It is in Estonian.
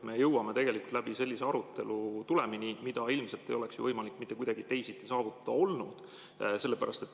Me jõuame tegelikult sellise aruteluga tulemini, mida ilmselt ei oleks ju mitte kuidagi teisiti võimalik saavutada olnud.